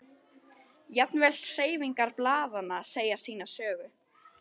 Jafnvel hreyfingar blaðanna segja sína sögu.